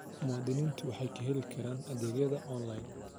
Muwaadiniintu waxay ka heli karaan adeegyada onlayn.